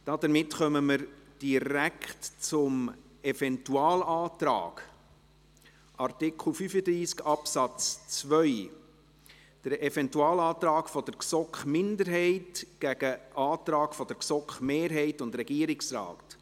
Damit kommen wir direkt zum Eventualantrag, Artikel 35 Absatz 2, der Eventualantrag der GSoK-Minderheit gegen den Antrag der GSoK-Mehrheit und des Regierungsrates.